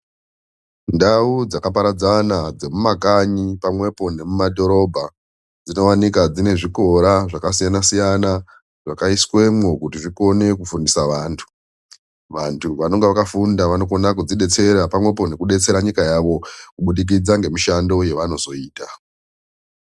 Ndau dzakaparadzana dzemumakanyi pamwepo nemumadhorobha, dzinowanika dzine zvikora zvakasiyana -siyana zvakaiswemwo kuti zvikone kufundisa vantu. Vantu anenge akafunda vanokona kuzvidetsera pamwepo nekudetsera nyika yavo kubudikidza ngemushando uyo vanozoita.